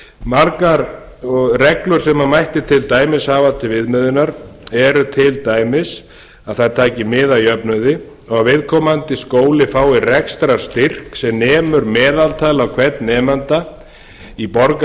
margar reglur sem mætti til dæmis hafa til viðmiðunar eru til dæmis að það taki mið af jöfnuði og vi viðkomandi skóli fái rekstrarstyrk sem nemur að meðaltali á hvern nemanda í